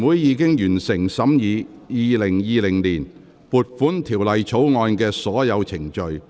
全體委員會已完成審議《2020年撥款條例草案》的所有程序。